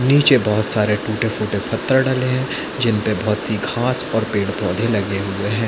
निचे बहोत सरे टूटे-फूटे पथ्थर डले है जिन पे बहोत सी घास और पेड़-पौधे लगे हुए है।